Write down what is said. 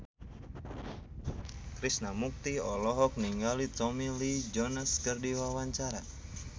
Krishna Mukti olohok ningali Tommy Lee Jones keur diwawancara